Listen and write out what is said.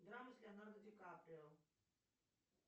драмы с леонардо ди каприо